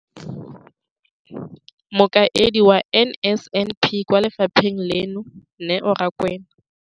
Mokaedi wa NSNP kwa lefapheng leno, Neo Rakwena,